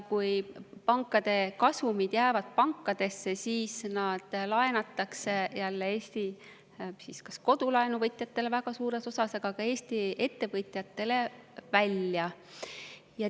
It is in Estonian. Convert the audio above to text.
Kui pankade kasumid jäävad pankadesse, siis nad laenatakse jälle väga suures osas Eesti kodulaenuvõtjatele, aga ka Eesti ettevõtjatele välja.